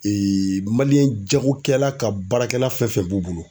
jagokɛla ka baarakɛla fɛn fɛn b'u bolo